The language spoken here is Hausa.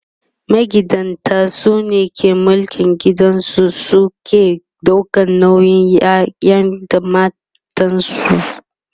magidanta sune ke mulkin gida su suke ɗaukan nauyin ƴaƴa da matansu